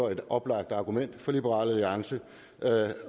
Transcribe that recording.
er et oplagt argument for liberal alliance